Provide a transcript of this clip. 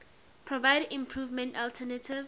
provide important alternative